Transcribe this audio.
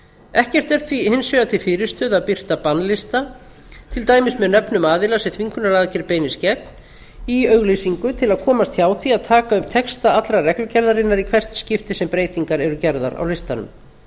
ekkert er því hins vegar til fyrirstöðu að birta bannlista til dæmis með nöfnum aðila sem þvingunaraðgerð beinist gegn í auglýsingu til að komast hjá því að taka upp texta allrar reglugerðarinnar í hvert skipti sem breytingar eru gerðar á listanum